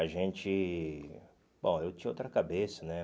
A gente... Bom, eu tinha outra cabeça, né?